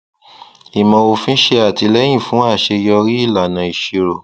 ìmọ òfin ṣe àtìlẹyìn fún aṣeyọrí ìlànà ìṣirò